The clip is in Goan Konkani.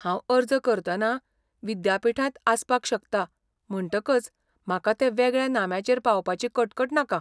हांव अर्ज करतना विद्यापीठांत आसपाक शकता म्हणटकच म्हाका ते वेगळ्या नाम्याचेर पावपाची कटकट नाका.